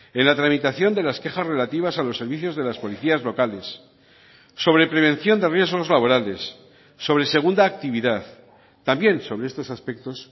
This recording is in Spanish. en la tramitación de las quejas relativas a los servicios de las policías locales sobre prevención de riesgos laborales sobre segunda actividad también sobre estos aspectos